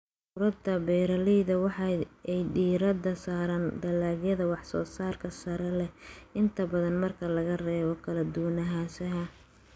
Ururada beeralayda waxa ay diirada saaraan dalagyada wax soo saarka sare leh, inta badan marka laga reebo kala duwanaanshaha.